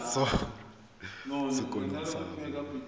moithuti mo sekolong sa mo